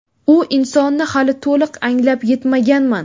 U insonni hali to‘liq anglab yetmaganman.